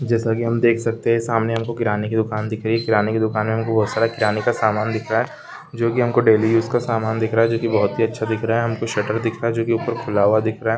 जैसा की हम देख सकते हैं सामने हम को किराने की दुकान दिख रही हैं किराना की दुकान में हम को वो सारे किराने का सामान दिख रहा हैं जो की हम को डेली यूज़ का सामान दिख रहा हैं जो की बहोत ही अच्छा दिख रहा हैं हमको शरट दिख रहा हैं जो की ऊपर खुला हुआ दिखरहा हैं।